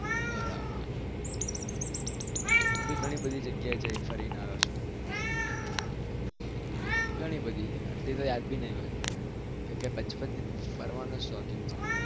બરાબર હું તો ગણી બધી જગ્યા એ ફરી આવ્યો છુ અડધી તો યાદ પણ નહિ હોઉં ફરવાનો શોખીન છુ